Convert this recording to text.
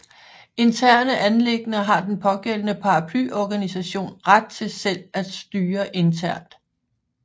Interne anliggender har den pågældende paraplyorganisation ret til selv at styre internt